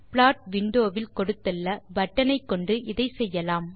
plot window வில் கொடுத்துள்ள button ஐ கொண்டு இதை செய்யலாம்